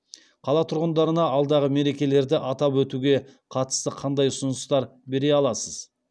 қала тұрғындарына алдағы мерекелерді атап өтуге қатысты қандай ұсыныстар бере аласыз